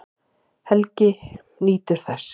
Helgi nýtur þess.